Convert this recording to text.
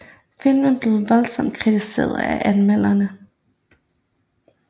Filmen blev voldsomt kritiseret af anmelderne